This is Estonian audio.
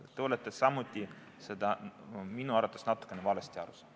Te olete samuti sellest minu arvates natukene valesti aru saanud.